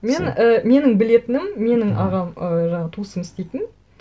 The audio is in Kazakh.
мен і менің білетінім менің ағам ы жаңағы туысым істейтін